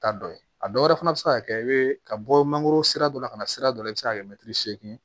Taa dɔ ye a dɔwɛrɛ fana bɛ se ka kɛ i bɛ ka bɔ mangoro sira dɔ la ka na sira dɔ la i bɛ se ka kɛ mɛtiri seegin ye